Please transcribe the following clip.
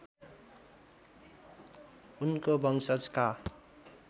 उनको वंशजका